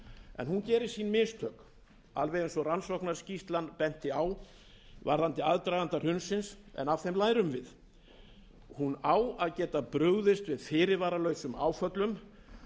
en hún gerir sín mistök alveg eins og bent var á í rannsóknarskýrslunni um aðdraganda hrunsins en af þeim lærum við hún á að geta brugðist við fyrirvaralausum áföllum